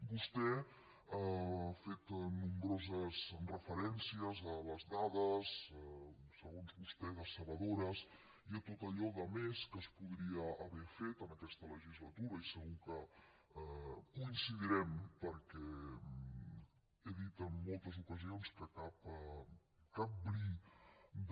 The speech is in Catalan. vostè ha fet nombroses referències a les dades segons vos tè decebedores i a tot allò de més que es podria haver fet en aquesta legislatura i segur que hi coincidirem perquè he dit en moltes ocasions que cap bri de